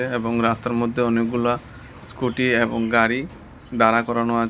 এবং রাস্তার মধ্যে অনেকগুলা স্কুটি এবং গাড়ি দ্বারা করানো আছে।